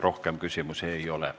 Rohkem küsimusi ei ole.